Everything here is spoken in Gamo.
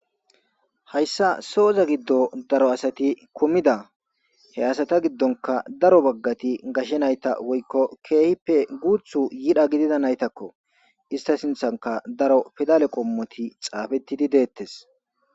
Hayssa sooza giddo daro asati komida. He asata giddonka daro baggati gashshe nayta woykko keehippe guutha yira giddida nayitakko. Ista sinthanka daro pidale qommoti xaafettidi deettes.